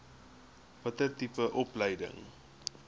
watter tipe opleiding